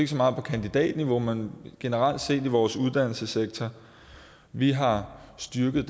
så meget på kandidatniveau men generelt set i vores uddannelsessektor vi har styrket